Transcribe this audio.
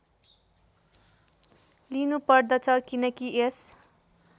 लिनुपर्दछ किनकि यस